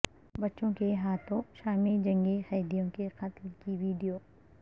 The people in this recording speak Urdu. بچوں کے ہاتھوں شامی جنگی قیدیوں کے قتل کی ویڈیو